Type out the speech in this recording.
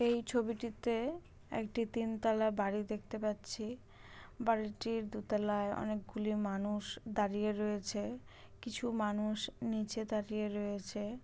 এই ছবিটিতে একটি তিনতালা বাড়ি দেখতে পাচ্ছি। বাড়িটির দোতলায় অনেকগুলি মানুষ দাঁড়িয়ে রয়েছে। কিছু মানুষ নিচে দাঁড়িয়ে রয়েছে।